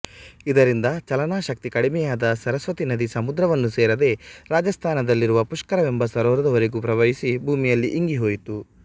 ಇದರಿಂದ ಚಲನಶಕ್ತಿ ಕಡಿಮೆಯಾದ ಸರಸ್ವತೀ ನದಿ ಸಮುದ್ರವನ್ನು ಸೇರದೆ ರಾಜಾಸ್ಥಾನದಲ್ಲಿರುವ ಪುಷ್ಕರವೆಂಬ ಸರೋವರದವರೆಗೂ ಪ್ರವಹಿಸಿ ಭೂಮಿಯಲ್ಲಿ ಇಂಗಿಹೋಯಿತು